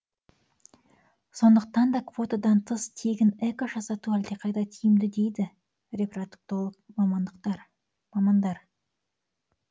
сондықтан да квотадан тыс тегін эко жасату әлдеқайда тиімді дейді репродуктолог мамандар